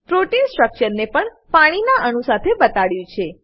protein સ્ટ્રક્ચરને પણ પાણીના અણુ સાથે બતાડ્યું છે